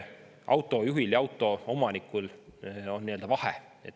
Autoomanikel on vahe.